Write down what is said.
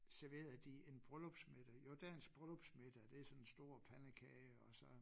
Serverede de en bryllupsmiddag jo dagens bryllupsmiddag det sådan en stor pandekage og så